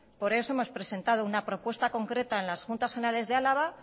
por eso hemos presentado una propuesta concreta en las juntas generales de álava